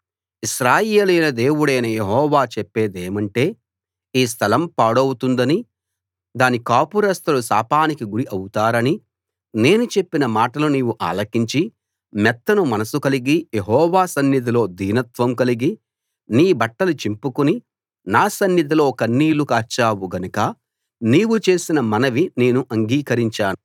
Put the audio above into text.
ఇశ్రాయేలీయుల దేవుడైన యెహోవా చెప్పేదేమంటే ఈ స్థలం పాడవుతుందని దాని కాపురస్థులు శాపానికి గురి అవుతారని నేను చెప్పిన మాటలు నీవు ఆలకించి మెత్తని మనస్సు కలిగి యెహోవా సన్నిధిలో దీనత్వం కలిగి నీ బట్టలు చింపుకుని నా సన్నిధిలో కన్నీళ్లు కార్చావు గనుక నీవు చేసిన మనవి నేను అంగీకరించాను